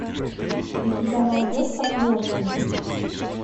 у тебя найдется клерки